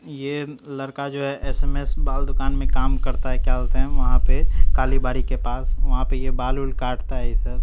ये लड़का जो है एस_एम_एस बाल दुकान में काम करता है क्या बोलते हैं वहां पे कालीबाड़ी के पास वहां पे ये बाल वाल काटता है ये सब।